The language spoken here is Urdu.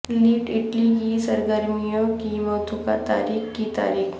لیڈ اٹلی کی سرگرمیوں کی متوقع تاریخ کی تاریخ